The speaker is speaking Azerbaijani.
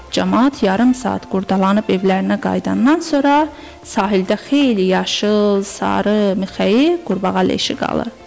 Camaat yarım saat qurdalanıb evlərinə qayıdandan sonra sahildə xeyli yaşıl, sarı mixəyi, qurbağa leşi qalır.